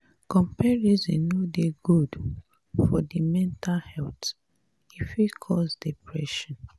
comparison no dey good for di mental health e fit cause depression